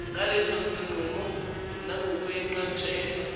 ngaleso sinqumo nangokwenqatshelwa